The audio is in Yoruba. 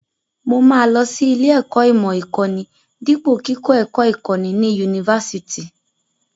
Mo máa lọ sí ilé-ẹ̀kọ́ ìmọ̀ ìkọ́ni dípò kíkọ́ ẹ̀kọ́ ìkọ́ni ní yunifásitì.